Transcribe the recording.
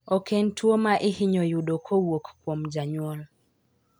Ok en tuo ma ihinyo yudo kowuok kuom jonyuol.